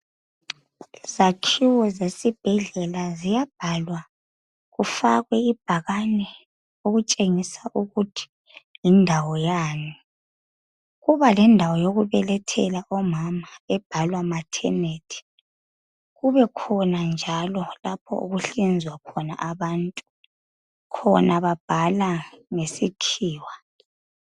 izakhiwo zesibhedlela ziyabhalwa kufakwe ibhakane okutshengisa ukuthi yindawo yani kuba lendawo yokubelethela omama ebhalwa maternity kubekhona njalo lapho okuhlinzwa khona abantu khona babhala ngesikhiwa